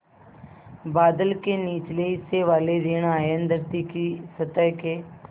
बादल के निचले हिस्से वाले ॠण आयन धरती की सतह के